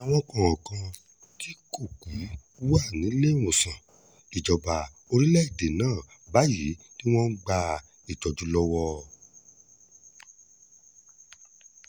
àwọn kọ̀ọ̀kan tí kò kú wà níléemọ̀sán ìjọba orílẹ̀‐èdè náà báyìí tí wọ́n ń gba ìtọ́jú lọ́wọ́